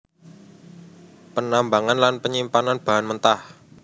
Penambangan lan penyimpanan bahan mentah